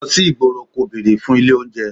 Lọ sí ìgboro kò bere fún ilé oúnjẹ.